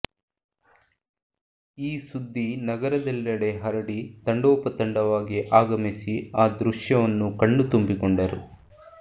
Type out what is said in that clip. ಈಸುದ್ದಿ ನಗರದೆಲ್ಲೆಡೆ ಹರಡಿ ತಂಡೋಪತಂಡವಾಗಿ ಆಗಮಿಸಿ ಆ ದೃಶ್ಯವನ್ನು ಕಣ್ಣು ತುಂಬಿಕೊಂಡರು